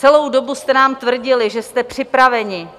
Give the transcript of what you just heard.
Celou dobu jste nám tvrdili, že jste připraveni.